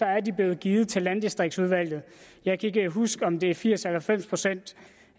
er de blev givet til landdistriktudvalget jeg kan ikke huske om det er firs procent eller halvfems procent